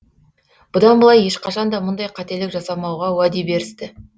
бұдан былай ешқашан да мұндай қателік жасамауға уәде берісті